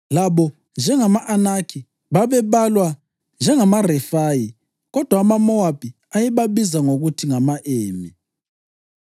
Labo njengama-Anakhi babebalwa njengamaRefayi, kodwa amaMowabi ayebabiza ngokuthi ngama-Emi.